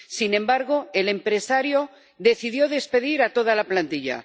Sin embargo, el empresario decidió despedir a toda la plantilla.